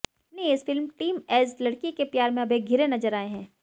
अपनी इस film teenage लड़की के प्यार में अभय घिरे नजर आए हैं